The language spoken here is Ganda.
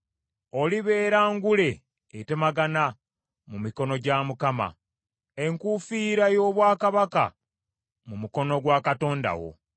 Olibeera ngule etemagana mu mikono gya Mukama , enkuufiira y’obwakabaka mu mukono gwa Katonda wo.